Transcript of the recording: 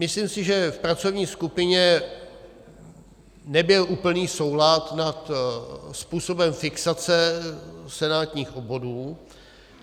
Myslím si, že v pracovní skupině nebyl úplný souhlas nad způsobem fixace senátních obvodů.